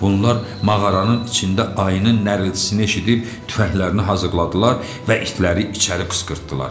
Bunlar mağaranın içində ayının nərəltisini eşidib tüfənglərini hazırladılar və itləri içəri qışqırtdılar.